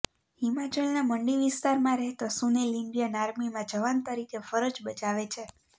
હિમાચલનાં મંડી વિસ્તારમાં રહેતો સુનિલ ઈન્ડિયન આર્મીમાં જવાન તરીકે ફરજ બજાવે છે